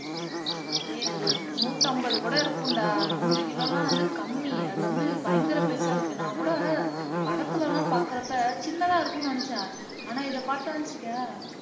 டேய் அது நூத்தம்பது கூட இருக்கும்டா நூறு kilo எல்லாம் வந்து கம்மி அது வந்து பயங்கர பெருசா இருக்கு நான் கூட படத்துல எல்லாம் பாக்குறப்ப சின்னதா இருக்கும்னு நினைச்சேன் ஆனா இத பாத்தேன்னு வச்சுக்கயேன்